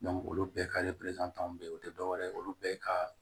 olu bɛɛ ka bɛ yen o tɛ dɔwɛrɛ ye olu bɛɛ ka